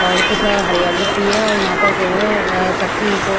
और कुछ हरियाली सी है और यहाँ पर जो है कच्ची ईंटों--